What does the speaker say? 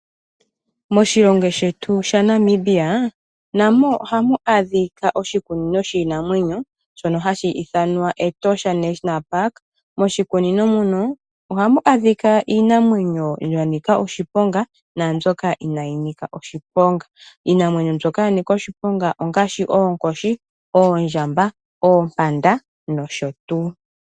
Moshilongo shetu shaNamibia namo ohamu adhika oshikunino shiinamwenyo, shono hashi ithanwa Etosha National Park. Moshikunino muno, ohamu adhika iinamwenyo ya nika oshiponga naambyoka inayi nika oshiponga. Iinamwenyo mbyoka ya nika oshiponga ongashi oonkoshi, oondjamba, oompanda noshotuu.